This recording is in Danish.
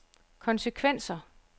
konsekvenser